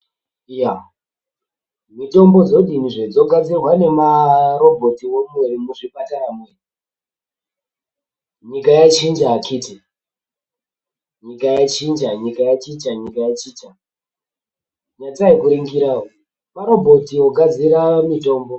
Iya mitombo dzodini zve dzogadzirwa nemaroboti here muzvipatarwo nyika yachinja nyatsai kuningira maro otsi ogadzira mutombo.